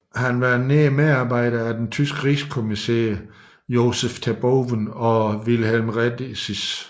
Han var nær medarbejder af den tyske rigskommissær Josef Terboven og Wilhelm Rediess